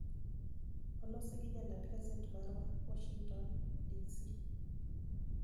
Olosi gi jaland gaset marwa, Washington, DC.